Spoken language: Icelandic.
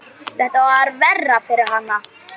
Þetta var verra fyrir hana.